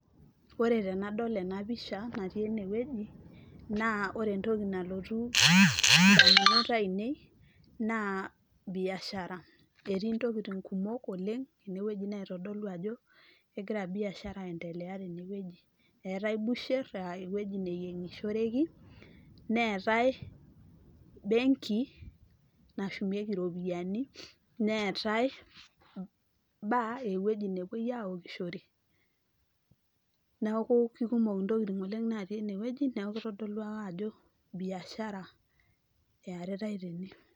Ore tenadol ena pisha natii ene wueji naa ore entoki nalotu indamunot ainei naa biashara , etii ntokitin kumok oleng naitodolu ajo kegira biashara tene wueji. Eetae busher aa ewueji neyiengishoreki , neetae benki nashumieki iropiyiani , neetae bar ewueji nepuoi aokishore , niaku kikumoki ntokitin natii ene wueji , niaku kitodolu ake ajo biashara earitae tene.